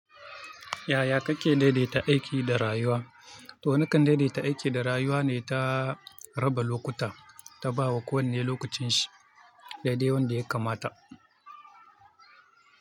Yaya kake daidaita aiki da rayuwa? To, wani kan daidaita aiki da rayuwa ne ta raba lokuta, ta bawa kowanne lokacin shi daidai wanda ya kamata.